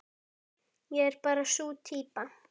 Ég er bara sú týpa.